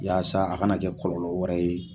Yaasa a kana kɛ kɔlɔlɔ wɛrɛ ye